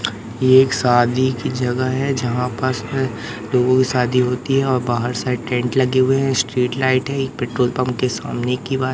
ये एक शादी की जगह है जहां पास से रोज शादी होती है और बाहर साइड टेंट लगे हुए हैं स्ट्रीट लाइट है एक पेट्रोल पंप के सामने की बात--